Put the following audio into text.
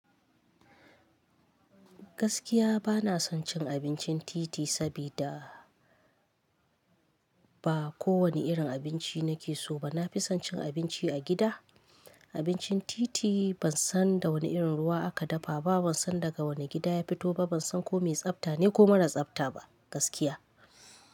Gaskiya bana son cin abincin titi, sabida ba kowane irin abinci nake so ba. Na fi son cin abinci a gida. Abincin titi ban san da wane irin ruwa aka dafa ba, ban san daga wane gida ya fito ba, ban san ko mai tsabta ne ko mara tsabta ba, gaskiya.